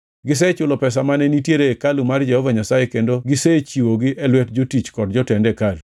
Gisechulo pesa mane nitiere e hekalu mar Jehova Nyasaye kendo gisechiwogi e lwet jotich kod jotend hekalu.”